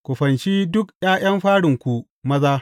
Ku fanshi duk ’ya’yan farinku maza.